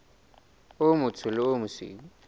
o motsho le o mosweu